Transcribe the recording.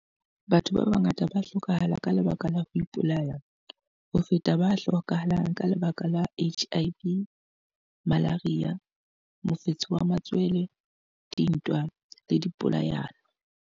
Batho ba bangata ba hlokahala ka lebaka la ho ipolaya ho feta ba hlokahalang ka lebaka la HIV, malaria, mofetshe wa matswele, dintwa le dipolayano.